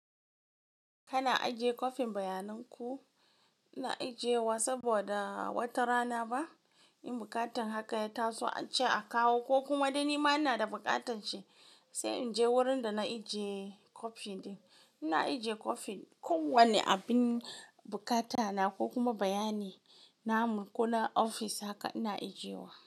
Kana ajiye kwafin bayanin ku ina ijiyewa saboda wata rana ba in buƙatar haka ya taso a ce a kawo ko kuma dai ni ma ina da buƙatanshi sai in je wurin da na ijiye kwafi ɗin. Ina ijiye kwafin kowane abin buƙata na ko kuma bayani na mu ko na ofis haka ina ijiyewa.